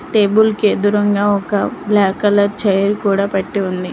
Table కి దూరంగా ఒక బ్లాక్ కలర్ చైర్ కూడా పెట్టి ఉంది.